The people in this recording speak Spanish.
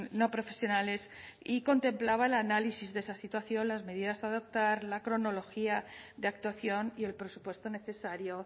no profesionales y contemplaba el análisis de esa situación las medidas a adoptar la cronología de actuación y el presupuesto necesario